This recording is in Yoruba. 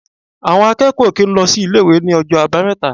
Àwọn akẹ́kọ̀ọ́ ò kì í lọ sí ilé-ìwé ní ọjọ́ Àbámẹ́ta.